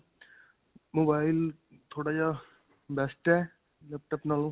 mobile ਥੋੜਾ ਜਿਹਾ best ਹੈ laptop ਨਾਲੋਂ.